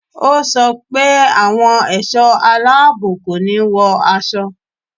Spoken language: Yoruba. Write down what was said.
Ó sọ pé àwọn ẹ̀ṣọ́ aláàbò kò ní wọ aṣọ